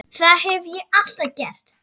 Það hef ég alltaf gert